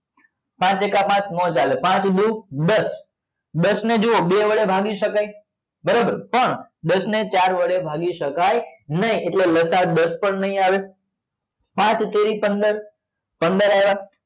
પાંચ એકા પાંચ નો ચાલે પાંચ દુ દસ દસ ને જુઓ બે વડે ભાગી સકાય બરોબર પણ દસ ને ચાર વડે ભાગી સકાય નહિ એટલે લસા દસ પણ નહી આવે પાંચ તરી પંદર પંદર આવે